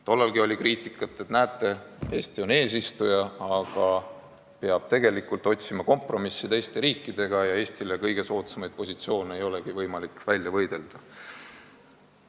Tollalgi oli kriitikat, et näete, Eesti on eesistuja, aga peab tegelikult teiste riikidega kompromisse otsima ja Eestile kõige soodsamaid positsioone ei olegi võimalik välja võidelda.